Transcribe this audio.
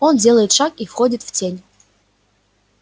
он делает шаг и входит в тень